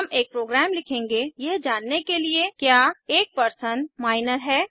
हम एक प्रोग्राम लिखेंगे यह जानने के लिए कि क्या एक परसन माइनर है